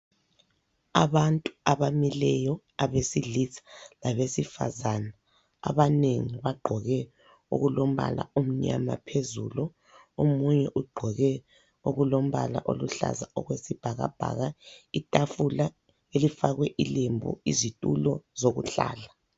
Abantu abamileyo abesilisa labesifazana, abanengi bagqoke okulombala omnyama phezulu, omunye ugqoke okulombala oluhlaza okwesibhakabhaka, itafula elifakwe ilembu izitulo zokuhlala.